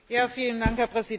Herr Präsident!